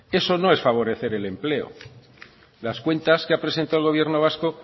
eso no es favorecer el empleo las cuentas que ha presentado el gobierno vasco